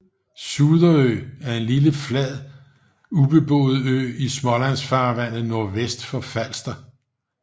Suderø er en lille flad ubeboet ø i Smålandsfarvandet nordvest for Falster